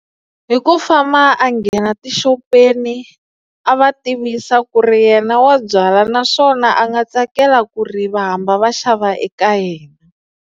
Hi ku famba a nghena tixopeni a va tivisa ku ri yena wa byala naswona a nga tsakela ku ri va hamba va xava eka yena.